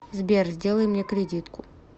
сбер сделай мне кредитку